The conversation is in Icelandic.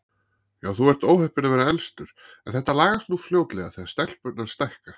Já, þú ert óheppinn að vera elstur, en þetta lagast nú fljótlega þegar stelpurnar stækka